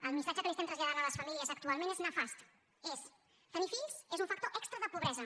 el missatge que estem traslladant a les famílies actualment és nefast és tenir fills és un factor extra de pobresa